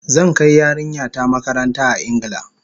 Zan kai yarinya ta makaranta a Ingila